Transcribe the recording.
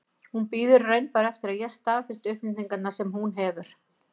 Hún bíður í raun bara eftir að ég staðfesti upplýsingarnar sem hún hefur.